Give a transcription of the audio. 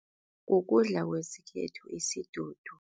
Kukudla kwesikhethu isidudu.